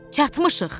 Çatmışıq.